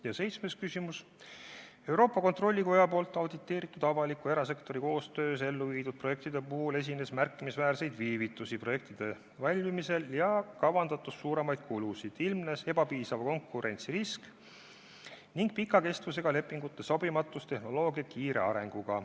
" Ja seitsmes küsimus: "Euroopa Kontrollikoja poolt auditeeritud avaliku ja erasektori koostöös ellu viidud projektide puhul esines märkimisväärseid viivitusi projektide valmimisel ja kavandatust suuremaid kulusid, ilmnes ebapiisava konkurentsi risk ning pika kestvusega lepingute sobimatus tehnoloogia kiire arenguga.